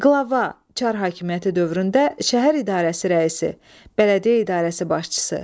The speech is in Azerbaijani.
Qlava, Çar höküməti dövründə şəhər idarəsi rəisi, bələdiyyə idarəsi başçısı.